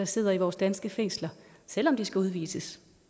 sidder i vores danske fængsler selv om de skal udvises